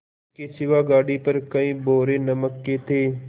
इसके सिवा गाड़ी पर कई बोरे नमक के थे